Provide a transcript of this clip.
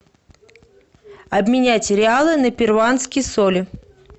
обменять реалы на перуанские соли